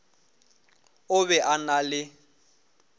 o be a na le